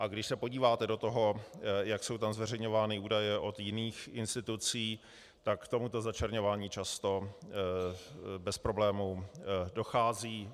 A když se podíváte do toho, jak jsou tam zveřejňovány údaje od jiných institucí, tak k tomuto začleňování často bez problémů dochází.